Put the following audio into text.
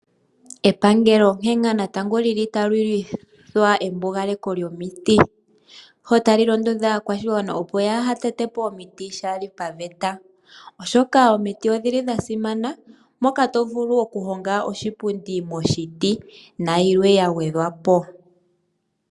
Epangelo onke nga natango lyi li tali indike embugalepo lyomiti. Ota li londodha aakwashigwana opo yaaha tete po omiti shaali paveta, oshoka omiti odhi li dha simana, moka tovulu okuhonga oshipundi moshiti, nayilwe ya gwedhwapo.